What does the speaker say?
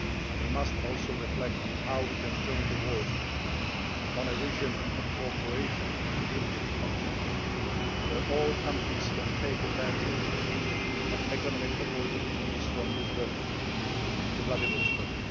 We must also reflect on how we can jointly work on a vision of cooperation on the European continent, where all countries can take advantage of economic opportunities from Lisbon to Vladivostok.